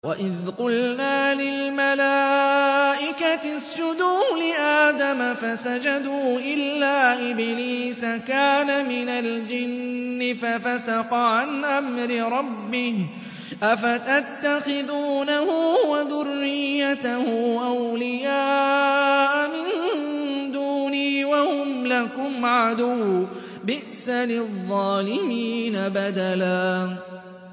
وَإِذْ قُلْنَا لِلْمَلَائِكَةِ اسْجُدُوا لِآدَمَ فَسَجَدُوا إِلَّا إِبْلِيسَ كَانَ مِنَ الْجِنِّ فَفَسَقَ عَنْ أَمْرِ رَبِّهِ ۗ أَفَتَتَّخِذُونَهُ وَذُرِّيَّتَهُ أَوْلِيَاءَ مِن دُونِي وَهُمْ لَكُمْ عَدُوٌّ ۚ بِئْسَ لِلظَّالِمِينَ بَدَلًا